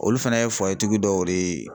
Olu fana ye tigi dɔw de ye .